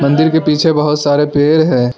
मंदिर के पीछे बहुत सारे पेड़ हैं।